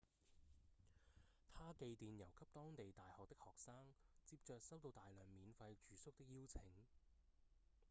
他寄電郵給當地大學的學生接著收到大量免費住宿的邀請